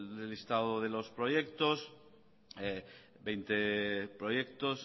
del estado de los proyectos veinte proyectos